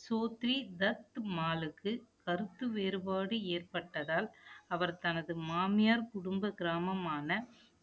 ஸ்தோத்திரி தத்மாலுக்கு கருத்து வேறுபாடு ஏற்பட்டதால், அவர் தனது மாமியார் குடும்ப கிராமமான